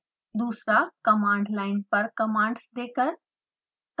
दूसरा command line पर commands देकर